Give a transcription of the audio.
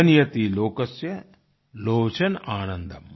जनयति लोकस्य लोचन आनन्दम